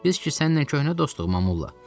Biz ki səninlə köhnə dostuq Mamolla.